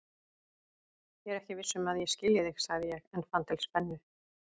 Ég er ekki viss um að ég skilji þig, sagði ég en fann til spennu.